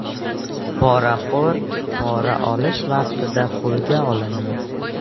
Poraxo‘r pora olish vaqtida qo‘lga olindi.